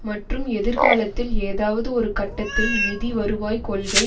மற்றும் எதிர்காலத்தில் ஏதாவது ஒரு கட்டத்தில் நிதிவருவாய் கொள்கை